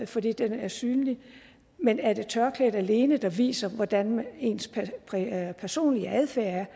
fordi den er synlig men er det tørklædet alene der viser hvordan ens personlige adfærd er